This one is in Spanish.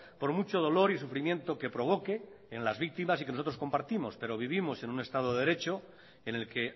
por mucho dolor y sufrimiento que provoque en las víctimas y que nosotros compartimos pero vivimos en un estado de derecho en el que